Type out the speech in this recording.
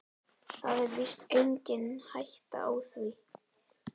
Það er víst engin hætta á því.